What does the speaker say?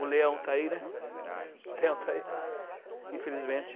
O leão está aí, né? O leão está aí, infelizmente.